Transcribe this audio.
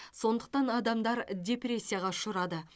сондықтан адамдар депрессияға ұшырады